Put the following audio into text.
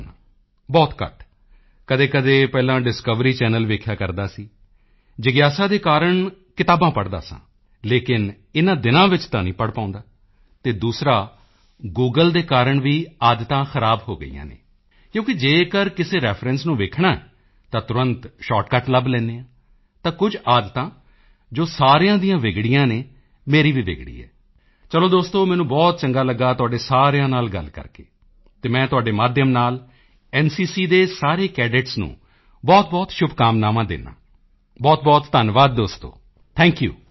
ਵੇਖ ਪਾਉਂਦਾ ਹਾਂ ਬਹੁਤ ਘੱਟ ਕਦੇਕਦੇ ਪਹਿਲਾਂ ਡਿਸਕਵਰੀ ਚੈਨਲ ਵੇਖਿਆ ਕਰਦਾ ਸਾਂ ਜਿਗਿਆਸਾ ਦੇ ਕਾਰਣ ਅਤੇ ਕਿਤਾਬਾਂ ਪੜ੍ਹਦਾ ਸਾਂ ਲੇਕਿਨ ਇਨ੍ਹਾਂ ਦਿਨਾਂ ਵਿੱਚ ਤਾਂ ਨਹੀਂ ਪੜ੍ਹ ਪਾਉਂਦਾ ਅਤੇ ਦੂਸਰਾ ਗੂਗਲ ਦੇ ਕਾਰਣ ਵੀ ਆਦਤਾਂ ਖ਼ਰਾਬ ਹੋ ਗਈਆਂ ਹਨ ਕਿਉਂਕਿ ਜੇਕਰ ਕਿਸੇ ਰੈਫਰੈਂਸ ਨੂੰ ਵੇਖਣਾ ਹੈ ਤਾਂ ਤੁਰੰਤ ਸ਼ਾਰਟਕਟ ਲੱਭ ਲੈਂਦੇ ਹਾਂ ਤਾਂ ਕੁਝ ਆਦਤਾਂ ਜੋ ਸਾਰਿਆਂ ਦੀਆਂ ਵਿਗੜੀਆਂ ਹਨ ਮੇਰੀ ਵੀ ਵਿਗੜੀ ਹੈ ਚਲੋ ਦੋਸਤੋ ਮੈਨੂੰ ਬਹੁਤ ਚੰਗਾ ਲੱਗਾ ਤੁਹਾਡੇ ਸਾਰਿਆਂ ਨਾਲ ਗੱਲ ਕਰਕੇ ਅਤੇ ਮੈਂ ਤੁਹਾਡੇ ਮਾਧਿਅਮ ਨਾਲ ਐਨਸੀਸੀ ਦੇ ਸਾਰੇ ਕੈਡੇਟਸ ਨੂੰ ਬਹੁਤਬਹੁਤ ਸ਼ੁਭਕਾਮਨਾਵਾਂ ਦਿੰਦਾ ਹਾਂ ਬਹੁਤਬਹੁਤ ਧੰਨਵਾਦ ਦੋਸਤੋ ਥੈਂਕ ਯੂ